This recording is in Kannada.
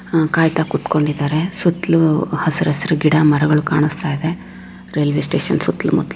ಆಹ್ಹ್ ಕಾಯಿತ ಕೂತ್ಕೊಂಡಿದ್ದಾರೆ ಸುತ್ತಲೂ ಹಸಿರು ಹಸಿರು ಗಿಡ ಮರಗಳು ಕಾಣಿಸ್ತಾ ಇದೆ ರೈಲ್ವೆ ಸ್ಟೇಷನ್ ಸುತ್ತಲೂ ಮುತ್ತಲೂ --